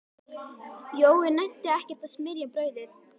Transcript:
Jói nennti ekkert að smyrja brauðið.